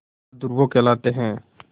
बहादुर वो कहलाते हैं